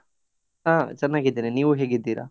ಹಾ ಚನ್ನಗಿದ್ದೇನೆ, ನೀವು ಹೇಗಿದ್ದೀರ?